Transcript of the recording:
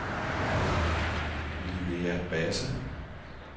Linnea Basse